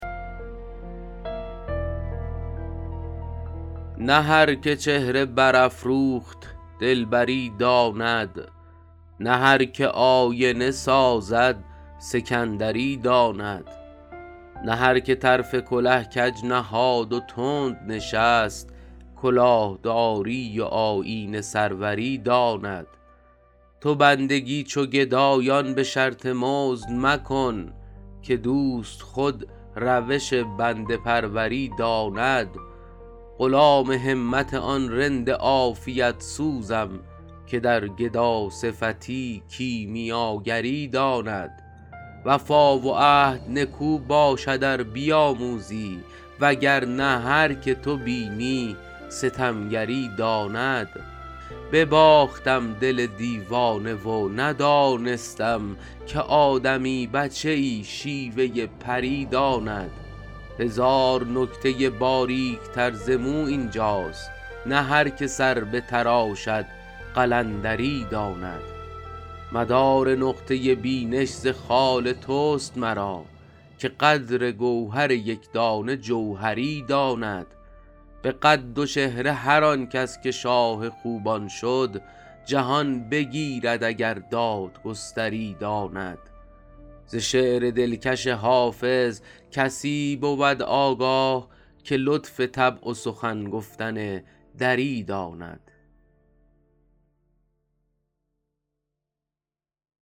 نه هر که چهره برافروخت دلبری داند نه هر که آینه سازد سکندری داند نه هر که طرف کله کج نهاد و تند نشست کلاه داری و آیین سروری داند تو بندگی چو گدایان به شرط مزد مکن که دوست خود روش بنده پروری داند غلام همت آن رند عافیت سوزم که در گداصفتی کیمیاگری داند وفا و عهد نکو باشد ار بیاموزی وگر نه هر که تو بینی ستمگری داند بباختم دل دیوانه و ندانستم که آدمی بچه ای شیوه پری داند هزار نکته باریک تر ز مو این جاست نه هر که سر بتراشد قلندری داند مدار نقطه بینش ز خال توست مرا که قدر گوهر یک دانه جوهری داند به قد و چهره هر آن کس که شاه خوبان شد جهان بگیرد اگر دادگستری داند ز شعر دلکش حافظ کسی بود آگاه که لطف طبع و سخن گفتن دری داند